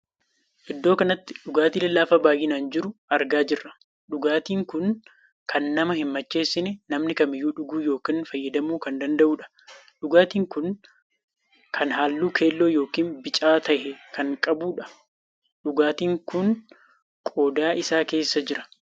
Iddoo kanatti dhugaatii lallaafaa baay'inaan jiruu argaa jirra. dhugaatii kun kan nama hin macheessinee namni kamiyyuu dhuguu ykn fayydamuu kan danda'udha. dhugaatiin kun kan halluu keelloo ykn bicaa tahe kan qabuudha. dhugaatiin kun qodaa isaa keessa jira.